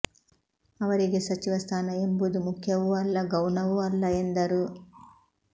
ಅವರಿಗೆ ಸಚಿವ ಸ್ಥಾನ ಎಂಬುದು ಮುಖ್ಯವೂ ಅಲ್ಲ ಗೌಣವೂ ಅಲ್ಲ ಎಂದರು